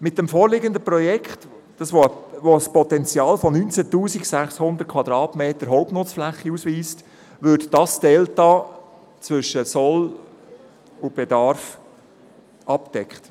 Mit dem vorliegenden Projekt, welches ein Potenzial von 19 600 Quadratmetern Hauptnutzfläche ausweist, würde dieses Delta zwischen Bestand und Sollbedarf abgedeckt.